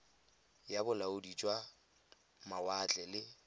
ya bolaodi jwa mawatle le